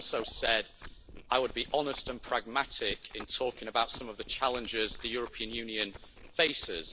I also said I would be honest and pragmatic in talking about some of the challenges the European Union faces.